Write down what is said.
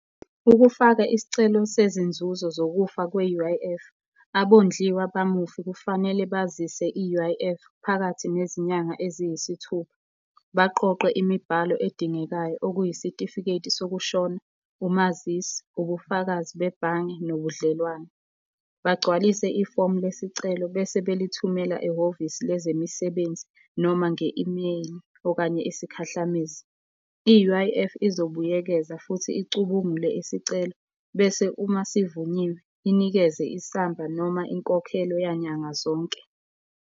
Ukufaka isicelo sezinzuzo zokufa kwe-U_I_F, abondliwa bamufi kufanele bazise i-U_I_F, phakathi nezinyanga eziyisithupha. Baqoqe imibhalo edingekayo okuyisitifiketi sokushona, umazisi, ubufakazi bebhange, nobudlelwane. Bagcwalise ifomu lesicelo bese belithumela ehhovisini lezemisebenzi noma nge-email, okanye isikhahlamezi. I-U_I_F izobuyekeza futhi icubungule isicelo bese uma sivunyiwe, inikeze isamba noma inkokhelo yanyanga zonke.